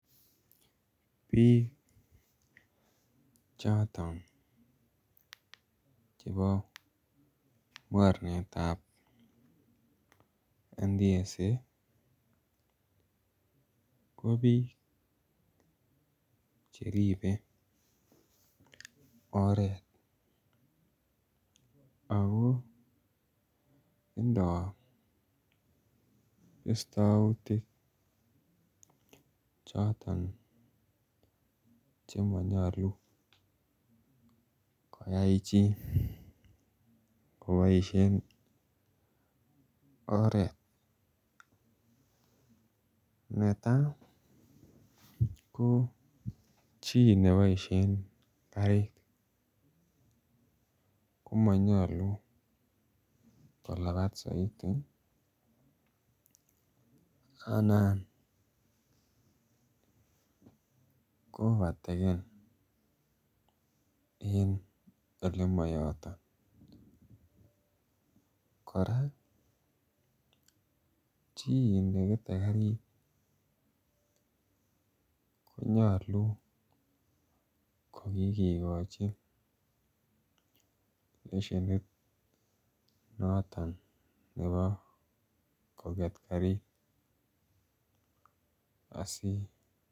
Bik choton chebo mornet ab NTSA ko bik Che ribe oret ago tindoi bistoutik choton Che manyolu koyai chi koboisien oret netai ko chi neboisien karit ko monyoluu kolabat soiti anan ko overtaken en Ole moyoto kora chi nekete karit ko nyolu kogikigochi lesienit noton nebo koget karit